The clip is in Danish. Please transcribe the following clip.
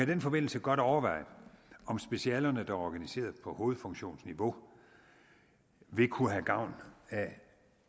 den forbindelse godt overveje om specialerne der er organiseret på hovedfunktionsniveau vil kunne have gavn af at